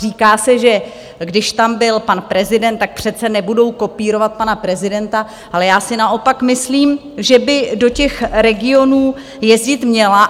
Říká se, že když tam byl pan prezident, tak přece nebudou kopírovat pana prezidenta, ale já si naopak myslím, že by do těch regionů jezdit měla.